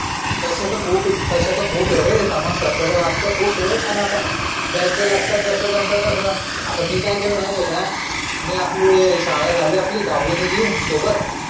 तश्या तर खूप आहे रे समाजशास्त्राचे व्याख्या तर खूप आहे पण आता ज्याच्या लक्षात जसा जमतं तसं. मी काय केलं माहिती आहे का मी आपली शाळा झाली आपली दहाव्वी निगली सोबत.